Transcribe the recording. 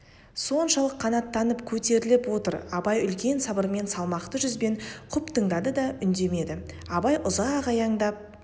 соншалық қанаттанып көтеріліп отыр абай үлкен сабырмен салмақты жүзбен құп тыңдады да үндемеді абай ұзақ аяңдап